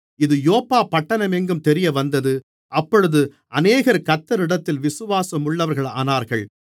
இது யோப்பா பட்டணம் எங்கும் தெரியவந்தது அப்பொழுது அநேகர் கர்த்தரிடத்தில் விசுவாசமுள்ளவர்களானார்கள்